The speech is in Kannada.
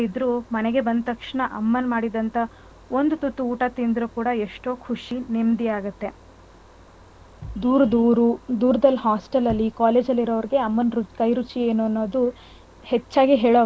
ಇದ್ರೂ ಮನೆಗೆ ಬಂದ್ ತಕ್ಷಣ ಅಮ್ಮ ಮಾಡಿದಂತ್ತ ಒಂದ್ ತುತ್ತು ಊಟ ತಿಂದ್ರು ಕೂಡ ಎಷ್ಟೋ ಖುಷಿ ನೇಮ್ಧಿ ಆಗುತ್ತೆ . ದೂರದ್ ಊರು ದೂರ್ದಲ್ಲಿ hostel ಅಲ್ಲಿ college ಅಲ್ಲಿಇರೋರ್ಗೆ ಅಮ್ಮನ್ ಕೈರುಚಿ ಅನ್ನೋದು ಹೆಚ್ಚಾಗಿ ಹೇಳೋ,